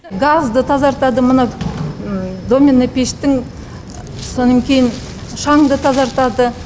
газды тазартады мына домна пештің содан кейін шаңды тазартады